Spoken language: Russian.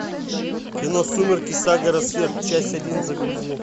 кино сумерки сага рассвет часть один загрузи